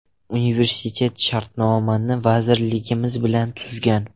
Universitet shartnomani vazirligimiz bilan tuzgan.